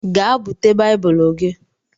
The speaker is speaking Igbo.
Gee búte baibulu gị!!!